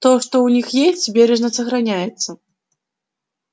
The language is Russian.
то что у них есть бережно сохраняется